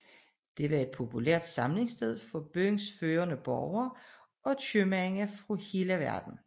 Det var et populært samlingssted for byens førende borgere og købmænd fra hele verden